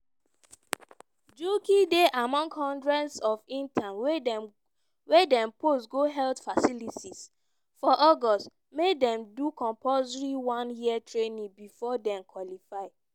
njuki dey among hundreds of interns wey dem post go health facilities for august make dem do compulsory one year training bifor dem qualify.